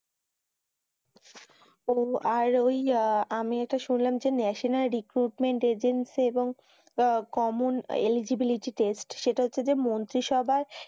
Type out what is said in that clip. ও আর ওই আমি একটা শুনলাম যে ন্যাশনাল রিক্রুটমেন্ট এজেন্সী এবং কমন এলিজিবিলিটি টেস্ট সেটা হচ্ছে যে মন্ত্রী সভায়,